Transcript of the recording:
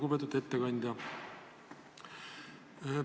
Lugupeetud ettekandja!